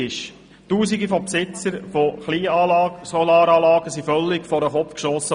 Tausende Besitzer von Kleinsolaranlagen wurden völlig vor den Kopf gestossen.